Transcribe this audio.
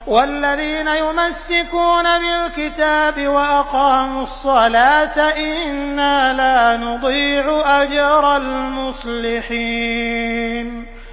وَالَّذِينَ يُمَسِّكُونَ بِالْكِتَابِ وَأَقَامُوا الصَّلَاةَ إِنَّا لَا نُضِيعُ أَجْرَ الْمُصْلِحِينَ